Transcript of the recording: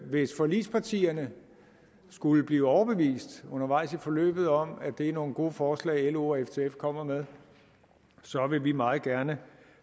hvis forligspartierne skulle blive overbevist undervejs i forløbet om at det er nogle gode forslag lo og ftf kommer med så vil vi meget gerne